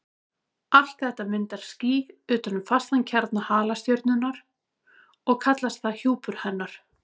Allt þetta myndar ský utan um fastan kjarna halastjörnunnar og kallast það hjúpur hennar.